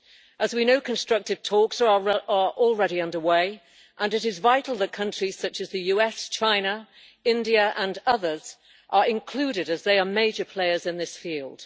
As we know, constructive talks are already underway and it is vital that countries such as the US, China, India and others are included as they are major players in this field.